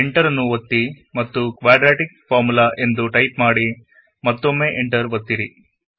enter ನ್ನು ಒತ್ತಿ ಮತ್ತು ಕ್ವಾಡ್ರಾಟಿಕ್ ಫಾರ್ಮುಲಾ ಎಂದು ಟೈಪ್ ಮಾಡಿ ಮತ್ತೊಮ್ಮೆ ಎಂಟರ್ ಒತ್ತಿರಿ